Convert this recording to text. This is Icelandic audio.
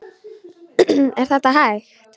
Er þetta hægt?